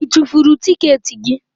Ị tufuru tikeeti gị?